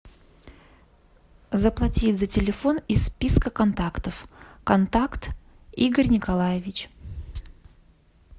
заплатить за телефон из списка контактов контакт игорь николаевич